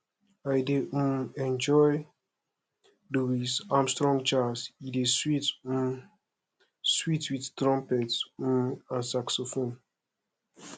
i dey um enjoy louis armstrong jazz e dey um sweet wit trumpet um and saxophone